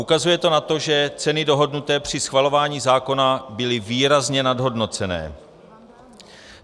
Ukazuje to na to, že ceny dohodnuté při schvalování zákona byly výrazně nadhodnocené.